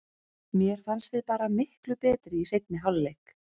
Mér fannst við bara miklu betri í seinni hálfleik.